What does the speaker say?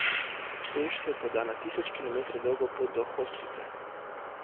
Peš se poda na tisoč kilometrov dolgo pot do hospica.